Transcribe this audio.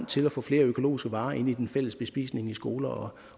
til at få flere økologiske varer ind i den fælles bespisning i skoler